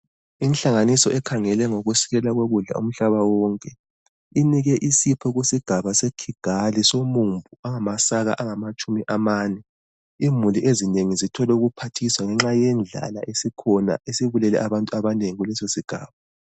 Inhlanganiso ekhangele ngokusilela kokudla umhlaba wonke inike isipho kusigaba seKigali somumbu ongamasaka angamatshumi amane. Imuli ezinengi zithole ukuphathiswa ngenxa yendlala esikhona esibulele abantu abanengi kuleso sigaba.